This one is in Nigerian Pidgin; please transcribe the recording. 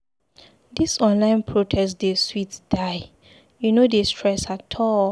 Dis online protest dey sweet die, e no dey stress at all.